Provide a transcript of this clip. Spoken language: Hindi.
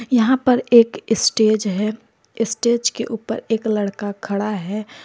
यहां पर एक स्टेज है स्टेज के ऊपर एक लड़का खड़ा है।